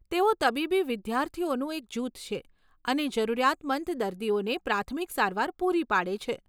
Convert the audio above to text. તેઓ તબીબી વિદ્યાર્થીઓનું એક જૂથ છે અને જરૂરિયાતમંદ દર્દીઓને પ્રાથમિક સારવાર પૂરી પાડે છે.